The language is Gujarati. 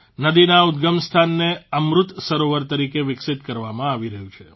નદીના ઉદગમસ્થાનને અમૃત સરોવર તરીકે વિકસિત કરવામાં આવી રહ્યું છે